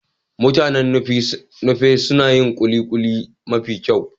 Mutanen Nupe suna yin kulikuli mafi kyau.